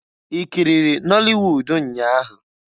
I kiriri nọli wud nnya ahụ?